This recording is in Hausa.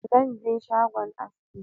Zan je shagon aski